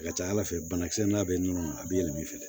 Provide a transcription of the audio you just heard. A ka ca ala fɛ banakisɛ n'a bɛ nɔnɔ a bɛ yɛlɛma i fɛ